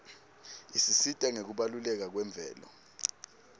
isisita ngekubaluleka kwemvelo